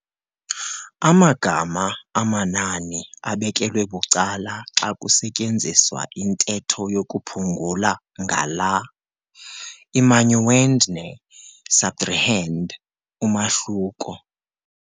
Amagama amanani abekelwe bucala xa kusetyenziswa intetho yokuphungula ngala, i-minuend - ne-subtrahend umahluko.